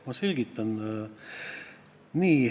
Ma selgitan.